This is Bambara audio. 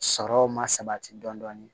Sɔrɔw ma sabati dɔɔni